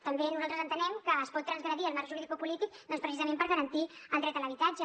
també nosaltres entenem que es pot transgredir el marc juridicopolític precisament per garantir el dret a l’habitatge